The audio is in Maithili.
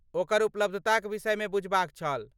ओकर उपलब्धताक विषयमे बुझबाक छल।